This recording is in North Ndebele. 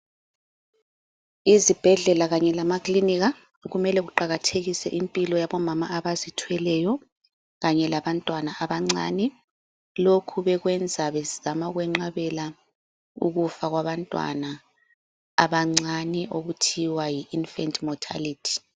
Izibhedlela kanye lama kilinika kumele beqakathekise impilo yabo mama abazithweleyo kanye labantwana abancane. Lokhu bekwenza bezama ukwenqabela ukufa kwabantwana abancane okuthiwa yi infant mortality.